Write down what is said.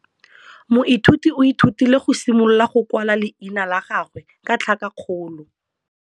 Moithuti o ithutile go simolola go kwala leina la gagwe ka tlhakakgolo.